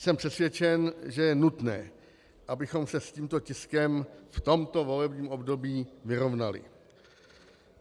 Jsem přesvědčen, že je nutné, abychom se s tímto tiskem v tomto volebním období vyrovnali.